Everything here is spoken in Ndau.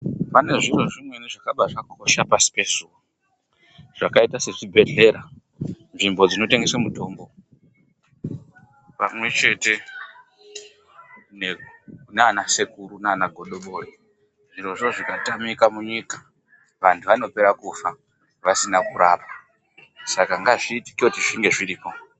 Pane zviro zvimweni zvakaba zvakosha pasi pezuwa. Zvakaita sezvibhehlera, nzvimbo dzinotengeswe mitombo pamwechete naana sekuru naana godobori. Zvirozvo zvikatamika munyika vantu vanopera kufa vasina kurapwa. Saka ngazviitike zvinge zviripo.